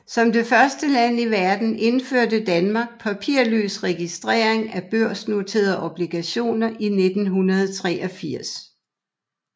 Som det første land i verden indførte Danmark papirløs registrering af børsnoterede obligationer i 1983